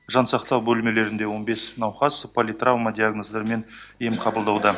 жан сақтау бөлмелерінде он бес науқас политравма диагноздарымен ем қабылдауда